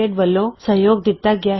LTD ਵਲੋਂ ਸਹਿਯੋਗ ਦਿਤਾ ਗਿਆ ਹੈ